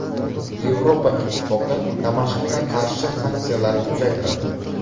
Yevropa Ittifoqi Damashqqa qarshi sanksiyalarni uzaytiradi.